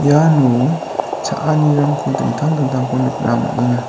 iano cha·anirangko dingtang dingtangko nikna man·enga.